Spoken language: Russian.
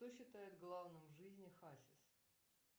что считает главным в жизни хасис